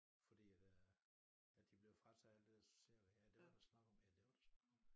Fordi at øh at de blev frataget alt det der sociale ja det var der snak om ja det var der snak om